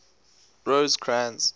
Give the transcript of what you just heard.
rosecrans